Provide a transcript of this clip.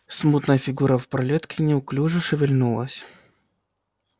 смутная фигура в пролётке неуклюже шевельнулась